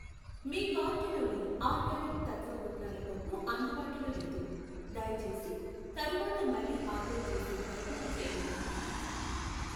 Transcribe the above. మీ కార్టులోని ఆర్గానిక్ తత్వ పుట్నాల పప్పు అందుబాటులో లేదు, దయచేసి తరువాత మళ్ళీ ఆర్డర్ చేసే ప్రయత్నం చేయండి.